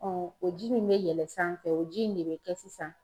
o ji min bɛ yɛlɛn sanfɛ o ji in de bɛ kɛ sisan